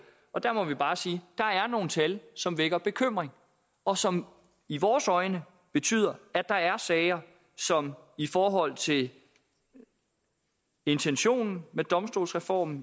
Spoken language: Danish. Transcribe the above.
og der må vi bare sige der er nogle tal som vækker bekymring og som i vores øjne betyder at der er sager som i forhold til intentionen med domstolsreformen